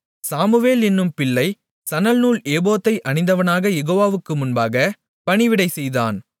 Samuel என்னும் பிள்ளை சணல்நூல் ஏபோத்தை அணிந்தவனாகக் யெகோவாவுக்கு முன்பாகப் பணிவிடை செய்தான்